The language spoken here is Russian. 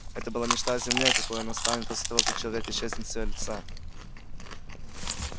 это была мечта о земле какой она станет после того как человек исчезнет с её лица